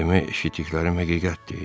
“Demək eşitdiklərim həqiqətdir.